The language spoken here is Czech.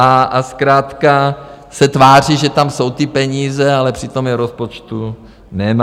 A zkrátka se tváří, že tam jsou ty peníze, ale přitom je v rozpočtu nemá.